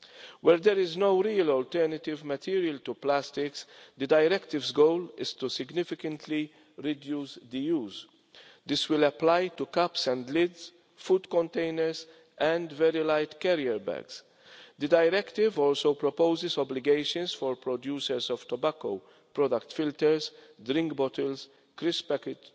Where there is no real alternative material to plastic, the directive's goal is to significantly reduce the use. This will apply to cups and lids, food containers and very light carrier bags. The directive also proposes obligations for producers of tobacco product filters, drink bottles, crisp packets,